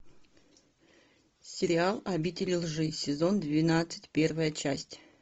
сериал обитель лжи сезон двенадцать первая часть